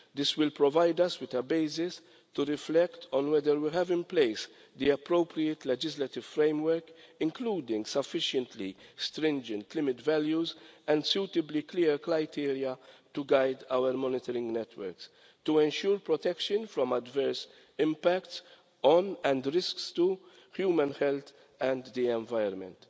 This will provide us with a basis to reflect on whether we have the appropriate legislative framework in place, including sufficiently stringent limit values and suitably clear criteria to guide our monitoring networks, to ensure protection from adverse impacts on, and the risks to, human health and the environment.